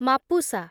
Mapusa